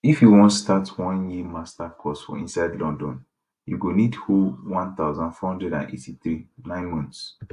if you wan start one year master course for inside london you go need hold 1483 9 months